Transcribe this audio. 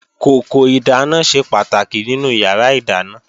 Kòkò ìdáná ṣe pàtàkì nínú yàrá ìdáná